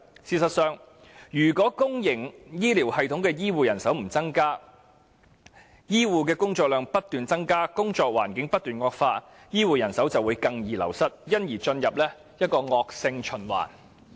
事實上，如不增加公營醫療系統的醫護人手，醫護工作量卻不斷增加，工作環境不斷惡化，醫護人手只會更易流失，因而陷入一個惡性循環。